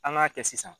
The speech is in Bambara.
An k'a kɛ sisan